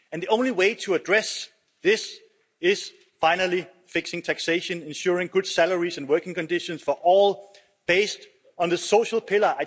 The only way to address this is by finally fixing taxation and ensuring good salaries and working conditions for all, based on the Social Pillar.